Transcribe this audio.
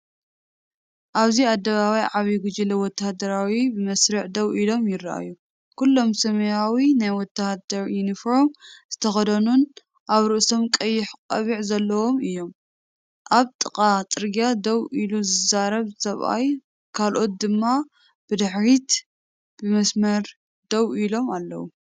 ኣብዚ ኣደባባይ ዓብዪ ጉጅለ ወተሃደራት ብመስርዕ ደው ኢሎም ይረኣዩ። ኩሎም ሰማያዊ ናይ ወታደር ዩኒፎርም ዝተኸድኑን ኣብ ርእሶም ቀይሕ ቆቢዑ ዘለዎምን እዮም። ኣብ ጥቓ ጽርግያ ደው ኢሉ ዝዛረብ ሰብኣይ ካልኦት ድማ ብድሕሪት ብመስመር ደው ኢሎም ኣለዉ።